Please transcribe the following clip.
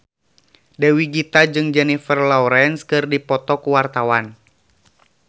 Dewi Gita jeung Jennifer Lawrence keur dipoto ku wartawan